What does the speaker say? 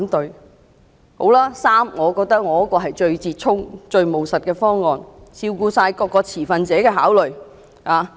那好吧，第三，是我的修正案，我認為是最折衷、最務實的方案，全面照顧各持份者的考慮。